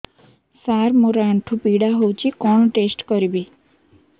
ସାର ମୋର ଆଣ୍ଠୁ ପୀଡା ହଉଚି କଣ ଟେଷ୍ଟ କରିବି